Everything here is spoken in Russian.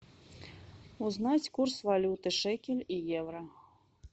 узнать курс валюты шекель и евро